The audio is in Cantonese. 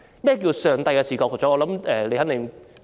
何謂上帝的視覺呢？